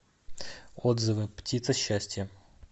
отзывы птица счастья